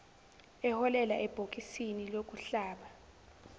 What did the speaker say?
eholela ebhokisini lokuhlaba